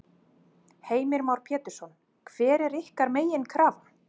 Heimir Már Pétursson: Hver er ykkar meginkrafa?